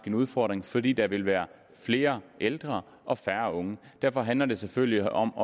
en udfordring fordi der vil være flere ældre og færre unge derfor handler det selvfølgelig om